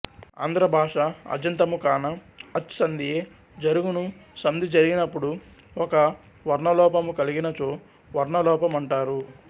ఆంధ్ర భాష అజంతము కాన అచ్ సంధియే జరుగును సంధి జరిగినపుడు ఒక వర్ణలోపము కల్గినచో వర్ణ లోపమంటారు